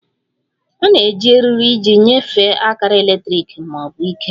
A na-eji eriri iji nyefee akara eletrik ma ọ bụ ike